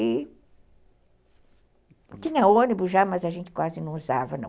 E tinha ônibus já, mas a gente quase não usava, não.